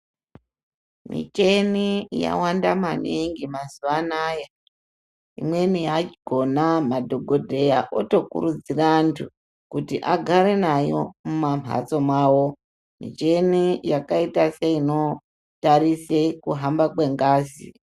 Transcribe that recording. Micheni yawanda maningi mazuwa anaya imweni yakhona madhogodheya otokurudzira antu kuti agAre nayo mumamhatso mawo micheni yakaita seinotarise kuhamba kwengazi.